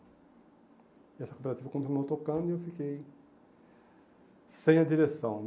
E essa cooperativa continuou tocando e eu fiquei sem a direção.